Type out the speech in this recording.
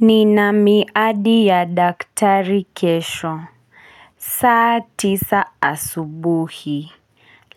Ni na miadi ya daktari kesho. Saa tisa asubuhi.